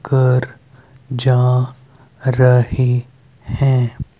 घर जा रहे हैं।